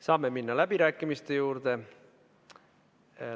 Saame minna läbirääkimiste juurde.